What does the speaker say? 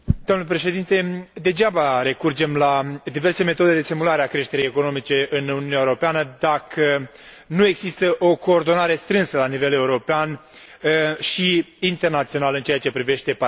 Degeaba recurgem la diverse metode de stimulare a creșterii economice în Uniunea Europeană, dacă nu există o coordonare strânsă la nivel european și internațional în ceea ce privește paradisurile fiscale.